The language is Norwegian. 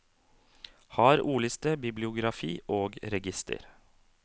Har ordliste, bibliografi og register.